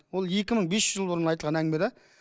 ол екі мың бес жүз жыл бұрын айтылған әңгіме де